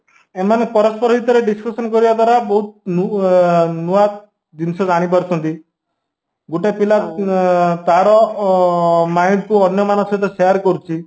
ଏମାନେ ପରସ୍ପର ଭିତରେ discussion କରିବା ଦ୍ଵାରା ବହୁତ ଆଁ ନୂଆ ଜିନିଷ ଜାଣିପାରୁଛନ୍ତି ଗୋଟେପିଲା ଆଁ ତାର ଅ mind କୁ ଅନ୍ୟ ମାନଙ୍କ ସହ share କରୁଚି